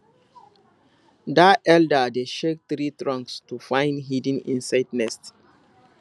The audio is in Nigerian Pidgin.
dat elder dey shake tree trunks to find hidden insect nests